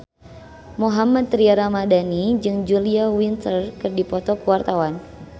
Mohammad Tria Ramadhani jeung Julia Winter keur dipoto ku wartawan